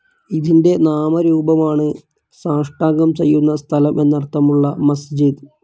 ഇതിന്റെ നാമരൂപമാണ് സാഷ്ടാംഗം ചെയ്യുന്ന സ്ഥലം എന്നർത്ഥമുള്ള മസ്ജിദ്.